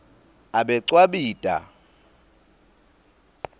abecwabita